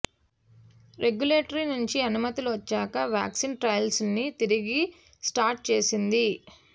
regulatory నుంచి అనుమతులు వచ్చాక వ్యాక్సిన్ ట్రయల్స్ను తిరిగి స్టార్ట్ చేసింది